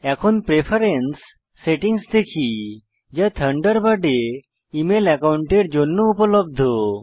এখন preference settings দেখি যা থান্ডারবার্ডে ইমেল একাউন্টের জন্য উপলব্ধ